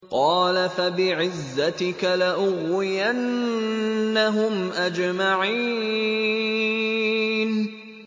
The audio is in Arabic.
قَالَ فَبِعِزَّتِكَ لَأُغْوِيَنَّهُمْ أَجْمَعِينَ